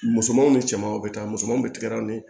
Musomanw ni cɛmanw bɛ taa musomani tigɛlaw ni